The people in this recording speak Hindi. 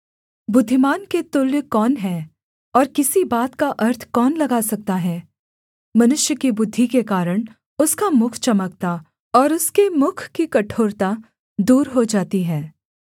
बुद्धिमान के तुल्य कौन है और किसी बात का अर्थ कौन लगा सकता है मनुष्य की बुद्धि के कारण उसका मुख चमकता और उसके मुख की कठोरता दूर हो जाती है